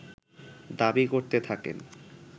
দাবী করতে থাকেন